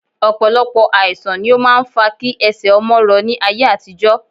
Ọ̀pọ̀lọpọ̀ àìsà̀n ni ó máa ń fa kí ẹsẹ̀ ọmọ rọ ní ayé àtijọ́